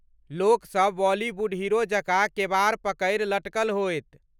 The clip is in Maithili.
लोकसभ बॉलीवुड हीरो जकाँ केबाड़ पकड़ि लटकल होयत।